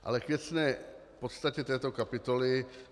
Ale k věcné podstatě této kapitoly.